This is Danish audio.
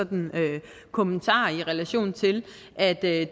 kommentarer i relation til at det